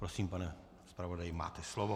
Prosím, pane zpravodaji, máte slovo.